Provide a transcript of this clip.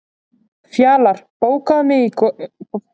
Fjalar, bókaðu hring í golf á mánudaginn.